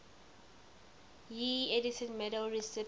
ieee edison medal recipients